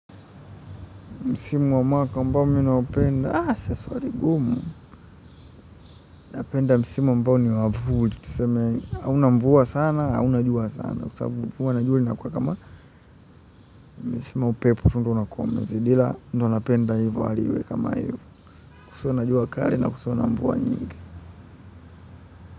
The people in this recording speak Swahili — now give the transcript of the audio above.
Misimu wa mwaka mbao mimi naupenda, ah swali ngumu, napenda msimu ambao ni wa mvuli. Tuseme hauna mvua sana hauna jua sana. Kwa sababu kuwa jua inakuwa kama upepo unakuwa umezidi ila ndio napenda hivyo kusiwe na jua kali kusiwe na mvua nyingi.